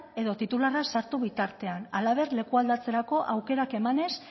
edo titularra ez sartu bitartean halaber leku aldatzerako aukerak emanez